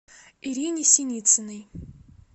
ирине синицыной